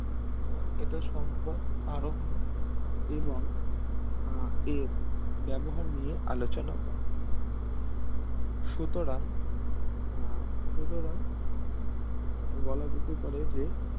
আহ এটা সম্পদ আরোহ এবং আহ এর ব্যবহার নিয়ে আলোচনা করে সুতরাং আহ সুতরাং আহ বলা যেতেই পারে যে